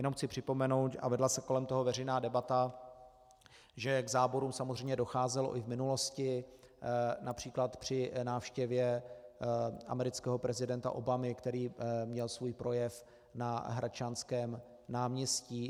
Jenom chci připomenout, a vedla se kolem toho veřejná debata, že k záborům samozřejmě docházelo i v minulosti, například při návštěvě amerického prezidenta Obamy, který měl svůj projev na Hradčanském náměstí.